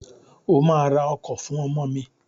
O ma ra ọkọ̀ fún ọmọ mi!